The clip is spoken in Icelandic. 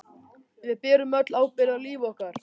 Við berum öll ábyrgð á lífi okkar.